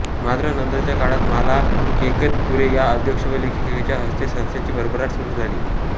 मात्र नंतरच्या काळात माला केकतपुरे या अध्यक्ष व लेखिकेच्या हस्ते संस्थेची भरभराट सुरू झाली